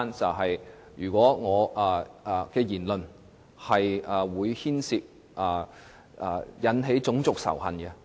例如，我的言論可能引起種族仇恨。